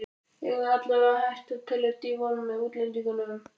Eigum við allavega að hætta að telja Devon með útlendingunum?